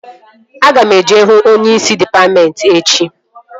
Aga m eje hụ onyeisi dịpatmentị echi